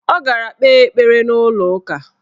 Ọ gara kpee ekpere n' ụlọụka.